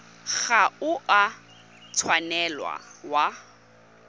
ga o a tshwanela wa